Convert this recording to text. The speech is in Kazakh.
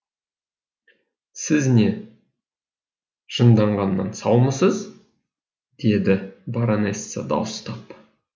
сіз не жынданғаннан саумысыз деді баронесса дауыстап